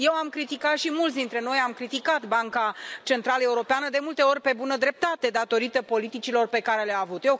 Eu am criticat și mulți dintre noi am criticat Banca Centrală Europeană de multe ori pe bună dreptate din cauza politicilor pe care le a avut.